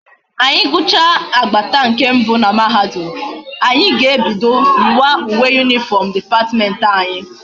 Anyi gucha agbata nke mbe na mahadum, anyi ga ebido yi wa uwe uniform department anyi